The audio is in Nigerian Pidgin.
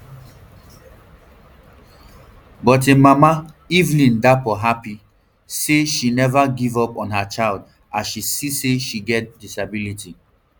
but im mama evelyn darpoh happy say she neva give up on her child as she see say she get disability